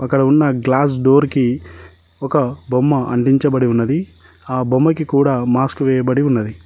అక్కడ ఉన్న glass door కి ఒక బొమ్మ అంటించబడి ఉన్నది ఆ బొమ్మకి కూడా మాస్క్ వేయబడి ఉన్నది.